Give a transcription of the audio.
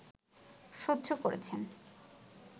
সহ্য করেছেন